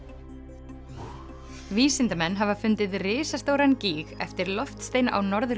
vísindamenn hafa fundið risastóran gíg eftir loftstein á Norður